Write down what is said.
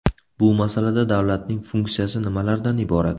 Bu masalada davlatning funksiyasi nimalardan iborat?